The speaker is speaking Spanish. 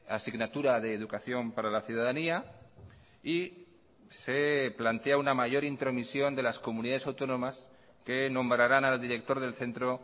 asignatura de educación para la ciudadanía y se plantea una mayor intromisión de las comunidades autónomas que nombrarán al director del centro